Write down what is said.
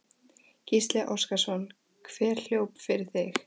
Gísli Óskarsson: Hver hljóp fyrir þig?